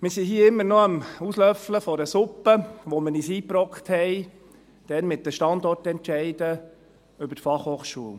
Wir sind hier immer noch am Auslöffeln einer Suppe, die wir uns eingebrockt haben mit den Standortentscheiden über die Fachhochschulen.